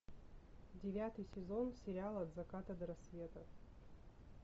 девятый сезон сериала от заката до рассвета